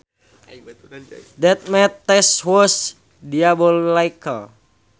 That math test was diabolical